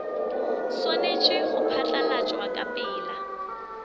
swanetše go phatlalatšwa ka pela